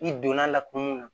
I donna la kuma mun na